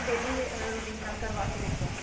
daily routine ਨਾਲ ਕਰਵਾ ਕੇ ਦੇਖੋ